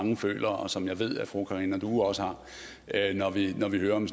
mange føler og som jeg ved at fru karina due også har når vi hører om